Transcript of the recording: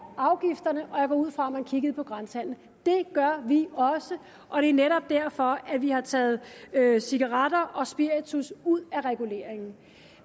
afgifterne og jeg går ud fra at man kiggede på grænsehandelen det gør vi også og det er netop derfor at vi har taget cigaretter og spiritus ud af reguleringen